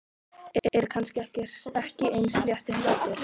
Er kannski ekki eins leitt og hún lætur.